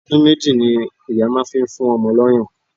Ọdún méjì ni ìyá máa fi ń fún ọmọ lọ́yàn